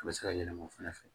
A bɛ se ka yɛlɛma o fɛnɛ fɛ